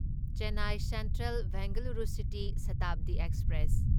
Chennai central Bengaluru city Shatabdi express